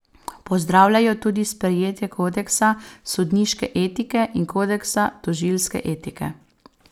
Pozdravljajo tudi sprejetje kodeksa sodniške etike in kodeksa tožilske etike.